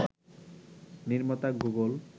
নির্মাতা গুগল